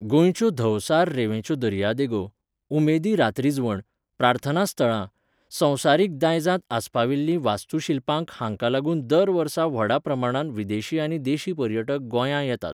गोंयच्यो धवसार रेंवेंच्यो दर्यादेगो, उमेदी रातरिजवण, प्रार्थनास्थळां, संवसारीक दायजांत आस्पाविल्लीं वास्तुशिल्पांक हांकां लागून दर वर्सा व्हडा प्रमाणांत विदेशी आनी देशी पर्यटक गोंयां येतात.